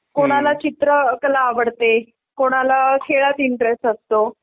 कोणाला चित्रकला आवडतें कोणाला खेळात इंट्रेस्ट असतो .